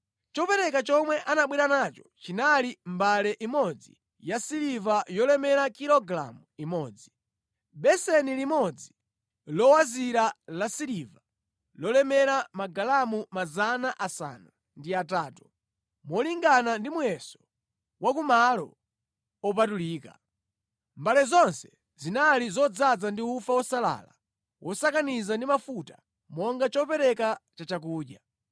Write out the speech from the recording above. Chopereka chomwe anabwera nacho chinali mbale imodzi yasiliva yolemera kilogalamu imodzi, beseni limodzi lowazira lasiliva lolemera magalamu 800, molingana ndi muyeso wa ku malo opatulika. Mbale zonse zinali zodzaza ndi ufa wosalala wosakaniza ndi mafuta monga chopereka cha chakudya.